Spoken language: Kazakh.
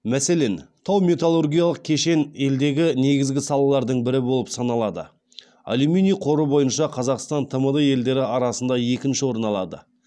мәселен тау металлургиялық кешен елдегі негізгі салалардың бірі болып саналады аллюминий қоры бойынша қазақстан тмд елдері арасында екінші орын алады